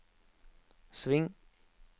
sving